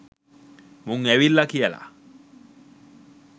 මුං ඇවිල්ලා කියලා.